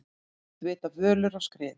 Oft vita völur á skriðu.